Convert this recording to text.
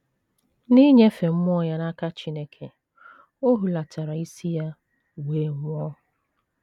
N’inyefe mmụọ ya n’aka Chineke, o hulatara isi ya wee nwụọ.